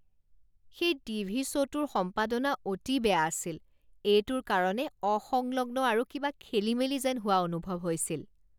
সেই টিভি শ্ব'টোৰ সম্পাদনা অতি বেয়া আছিল। এইটোৰ কাৰণে অসংলগ্ন আৰু কিবা খেলিমেলি যেন হোৱা অনুভৱ হৈছিল।